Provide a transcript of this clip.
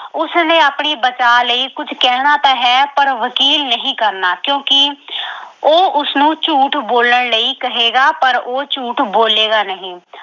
ਉਸਨੇ ਆਪਣੇ ਬਚਾ ਲਈ ਕੁੱਝ ਕਹਿਣਾ ਤਾਂ ਹੈ ਪਰ ਵਕੀਲ ਨਹੀਂ ਕਰਨਾ ਕਿਉਂਕਿ ਅਹ ਉਹ ਉਸਨੂੰ ਝੂਠ ਬੋਲਣ ਲਈ ਕਹੇਗਾ ਪਰ ਉਹ ਝੂਠ ਬੋਲੇਗਾ ਨਹੀਂ।